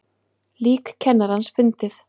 Lík kennarans fundið